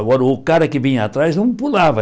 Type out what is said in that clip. Agora, o cara que vinha atrás não pulava.